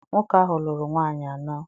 Nwoke ahụ lụrụ nwaanyị anọ.